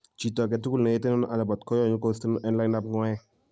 chito agetugul neyetenon alabat konyolu kosteyon en lainitab ng'waek